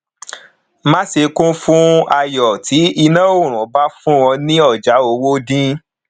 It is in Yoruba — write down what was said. má ṣe kún fún ayo tí iná ọrùn bá fún ọ ní ọjà owó dín